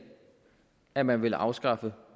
at man ville afskaffe